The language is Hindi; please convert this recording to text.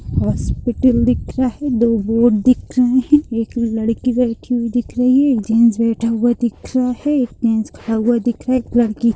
हॉस्पिटल दिख रहा है दो बोर्ड दिख रहे है एक लड़की बैठी हुई दिख रही है एक जेन्ट्स बैठा हुआ दिख रहा है एक जेन्ट्स खड़ा हुआ दिख रहा है। एक लड़की--